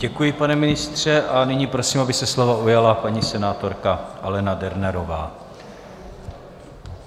Děkuji, pane ministře, a nyní prosím, aby se slova ujala paní senátorka Alena Dernerová.